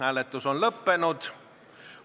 Hääletus on lõppenud.